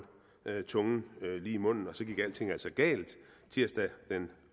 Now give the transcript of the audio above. tungen lige i munden og så gik alting altså galt tirsdag den